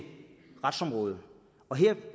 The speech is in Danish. retsområdet